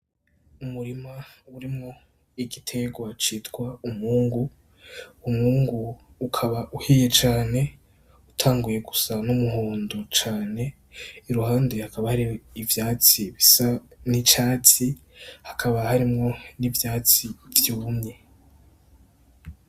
Umurima urimwo igiterwa citwa umwungu, umwungu ukaba uhiye cane utanguye gusa n'umuhondo cane iruhande hakaba hari ivyatsi bica n'icatsi hakaba harimwo n'ivyatsi vyumye.